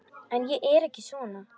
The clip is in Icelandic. En ég er ekki svona.